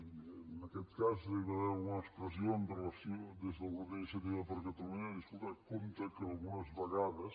i en aquest cas hi va haver alguna expressió des del grup d’iniciativa per catalunya de dir escolta compte que algunes vegades